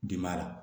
Biba la